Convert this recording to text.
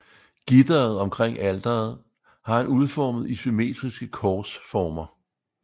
Gitteret omkring alteret har han udformet i symmetriske korsformer